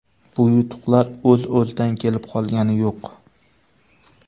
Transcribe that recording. Bu yutuqlar o‘z-o‘zidan kelib qolgani yo‘q.